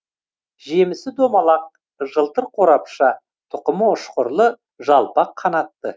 жемісі домалақ жылтыр қорапша тұқымы үшқырлы жалпақ қанатты